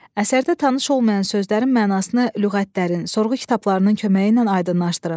Əsərdə tanış olmayan sözlərin mənasını lüğətlərin, sorğu kitablarının köməyi ilə aydınlaşdırın.